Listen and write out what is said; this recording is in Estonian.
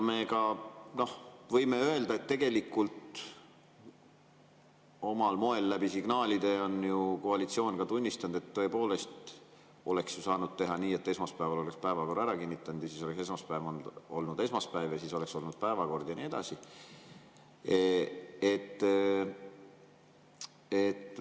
Me võime öelda, et omal moel signaale andes on koalitsioon ka tunnistanud, et tõepoolest oleks saanud teha nii, et esmaspäeval oleks päevakord ära kinnitatud ja siis oleks esmaspäev olnud esmaspäev, siis oleks olnud päevakord ja nii edasi.